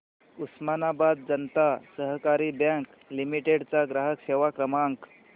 उस्मानाबाद जनता सहकारी bank limited चा ग्राहक सेवा क्रमांक